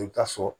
I bɛ taa sɔrɔ